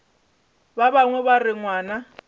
ba bangwe ba re ngwana